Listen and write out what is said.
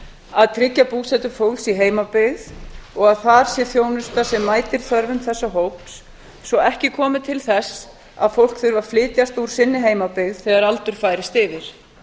að tryggja búsetu fólks í heimabyggð og að þar sé þjónusta sem mætir þörfum þessa hóps svo ekki komi til þess að fólk þurfi að flytjast úr sinni heimabyggð þegar aldur færist yfir